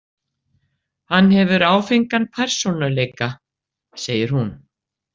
Hann hefur áfengan persónuleika, segir hún.